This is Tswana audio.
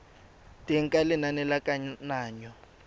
teng ga lenane la kananyo